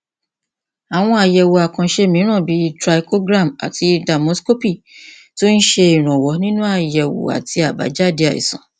àwọn àyẹwò àkànṣe mìíràn bíi trichogram àti dermoscopy tún ń ṣèrànwọ nínú àyẹwò àti àbájáde àìsàn